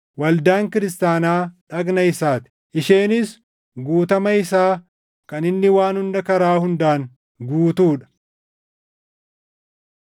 waldaan kiristaanaa dhagna isaa ti; isheenis guutama isaa kan inni waan hunda karaa hundaan guutuu dha.